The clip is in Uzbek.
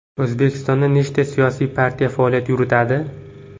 O‘zbekistonda nechta siyosiy partiya faoliyat yuritadi?